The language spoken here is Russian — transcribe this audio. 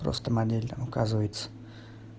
просто модель указывается